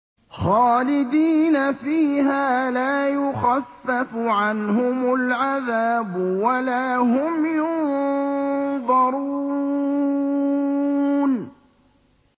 خَالِدِينَ فِيهَا ۖ لَا يُخَفَّفُ عَنْهُمُ الْعَذَابُ وَلَا هُمْ يُنظَرُونَ